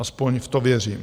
Aspoň v to věřím.